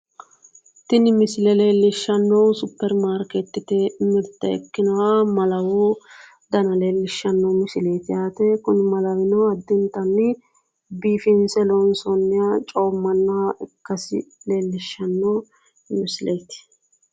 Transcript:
Tini misile leellishannohu supperimaarikeettete mirte ikkinoha malawu Dana leellishshanno misileeti yaate Kuni malawino addintanni biifinsse loonsoonniha coommannoha ikkasi leellishshanno misileeti.